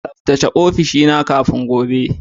Tsaftace ofishina kafin gobe